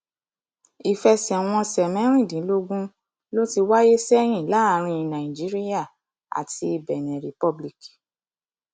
ìfẹsẹwọnsẹ mẹrìndínlógún ló ti wáyé sẹyìn láàrin nàìjíríà àti benin republic